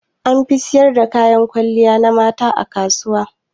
An fi siyar da kayan kwalliya na mata a kasuwa.